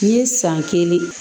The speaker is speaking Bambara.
N ye san kelen